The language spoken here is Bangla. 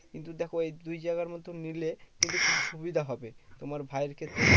কিন্তু দেখো এই দুই জায়গার মধ্যে নিলে কিন্তু সুবিধা হবে। তোমার ভাইয়ের ক্ষেত্রে